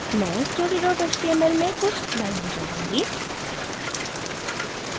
मैं story html में कुछ लाइनें जोडूँगी